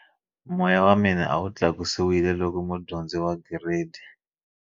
Moya wa mina a wu tlakusiwile loko mudyondzi wa Giredi